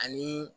Ani